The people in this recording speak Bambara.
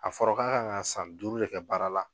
A fɔra k'a kan ka san duuru de kɛ baara la